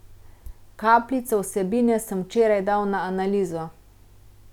Kapljico vsebine sem včeraj dal na analizo.